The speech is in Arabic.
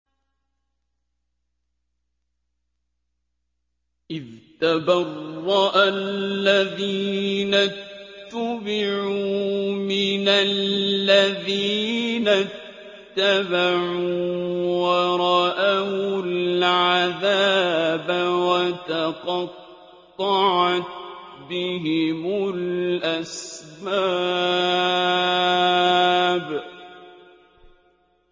إِذْ تَبَرَّأَ الَّذِينَ اتُّبِعُوا مِنَ الَّذِينَ اتَّبَعُوا وَرَأَوُا الْعَذَابَ وَتَقَطَّعَتْ بِهِمُ الْأَسْبَابُ